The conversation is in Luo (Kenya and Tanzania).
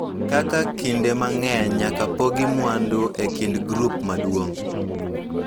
Kaka kinde mang�eny nyaka pogi mwandu e kind grup maduong�,